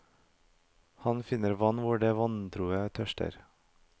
Han finner vann hvor de vantroe tørster.